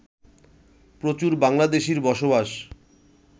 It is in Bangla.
প্রচুর বাংলাদেশির বসবাস